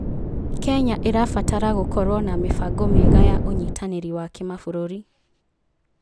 Kenya ĩrabatara gũkorwo na mĩbango mĩega ya ũnyitanĩri wa kĩmabũrũri.